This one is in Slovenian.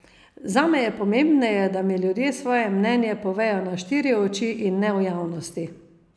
Zame je pomembneje, da mi ljudje svoje mnenje povejo na štiri oči in ne v javnosti.